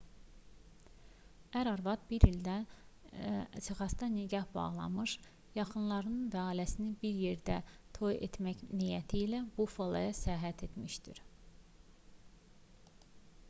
ər-arvad 1 il əvvəl texasda nikah bağlamış yaxınları və ailəsi ilə bir yerdə toy etmək niyyəti ilə buffaloya səyahət etmişdi